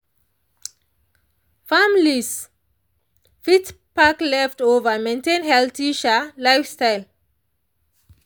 families fit pack leftover maintain healthy um lifestyle.